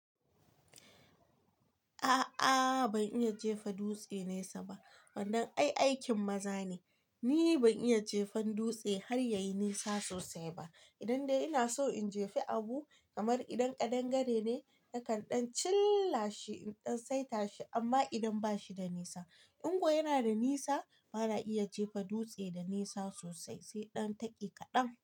A'a ban iya jefa dutse nesa ba, wannan ai aikin maza ne. Ni ban iya jefa dutse har yayi nisa sosai ba. Idan dai ina so in jefa abu, kamar idan kaɗangare ne nakanɗan chillashi in ɗan saita shi amma idan bashi da nisa. In kuwa yana da nisa, ba na iya jefa dutse da nisa sosai, sai ɗan taki kaɗan.